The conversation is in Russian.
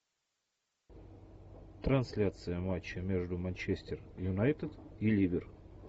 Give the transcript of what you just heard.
трансляция матча между манчестер юнайтед и ливер